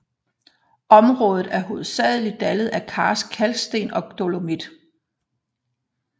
Området er hovedsageligt dannet af karst kalksten og dolomit